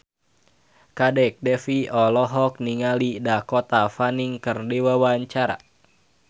Kadek Devi olohok ningali Dakota Fanning keur diwawancara